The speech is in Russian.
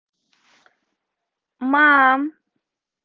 мам